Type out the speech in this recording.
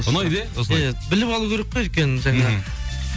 ұнайды иә иә біліп алу керек қой өйткені жаңа